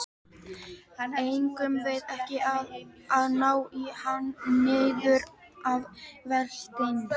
Eigum við ekki að ná í hann niður að vatni?